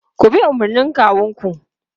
Ku bi umarnin kawunku!